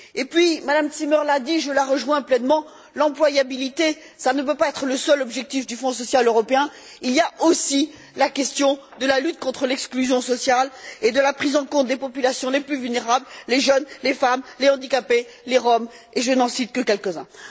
Et puis, Mme Zimmer l'a dit, je la rejoins pleinement l'employabilité, ça ne peut pas être le seul objectif du Fonds social européen, il y a aussi la question de la lutte contre l'exclusion sociale et de la prise en compte des populations les plus vulnérables, les jeunes, les femmes, les handicapés, les Roms, et je n'en cite que quelques uns.